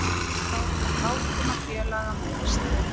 Þá verður látinna félaga minnst